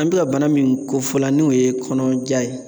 An bɛ ka bana min kofɔla n'o ye kɔnɔja ye